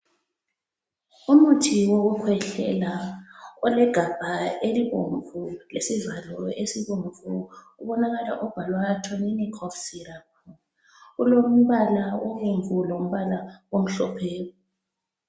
Umuthi wokukhwehlela olegabha elibomvu, lesivalo esibomvu ubonakala ubhalwa Tonin Cough Syrups. Ulombala obomvu lombala omhlophe.